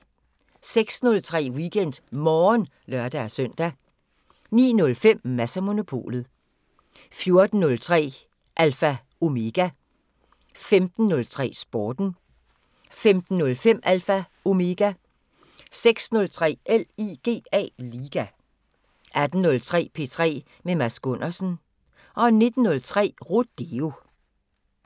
06:03: WeekendMorgen (lør-søn) 09:05: Mads & Monopolet 14:03: Alpha Omega 15:03: Sporten 15:05: Alpha Omega 16:03: LIGA 18:03: P3 med Mads Gundersen 19:03: Rodeo